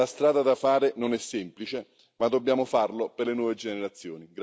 La strada da fare non è semplice, ma dobbiamo farlo per le nuove generazioni.